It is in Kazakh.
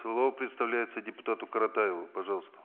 слово предоставляется депутату каратаеву пожалуйста